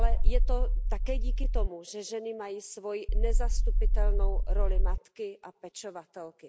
Je to také díky tomu, že ženy mají svoji nezastupitelnou roli matky a pečovatelky.